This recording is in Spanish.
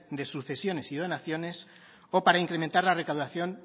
de sucesiones y donaciones o para incrementar la recaudación